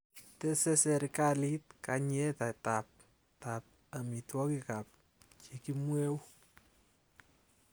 Teese serikalit kayiitetab tab amitewogikab chekimweu